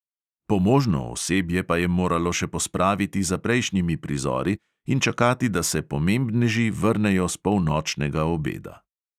Pomožno osebje pa je moralo še pospraviti za prejšnjimi prizori in čakati, da se pomembneži vrnejo s polnočnega obeda.